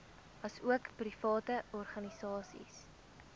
asook private organisasies